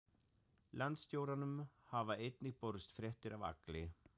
Landstjóranum hafa einnig borist fréttir af Agli